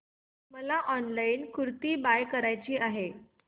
मला online kurti buy करायची आहे